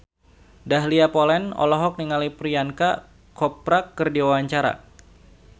Dahlia Poland olohok ningali Priyanka Chopra keur diwawancara